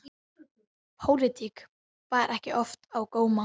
Pólitík bar ekki oft á góma.